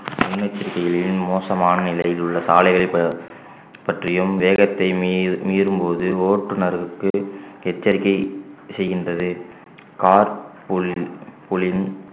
முன்னெச்சரிக்கைகளில் மோசமான நிலையில் உள்ள சாலைகளை பற்~ பற்றியும் வேகத்தை மீறு~ மீறும்போது ஓட்டுநருக்கு எச்சரிக்கை செய்கின்றது car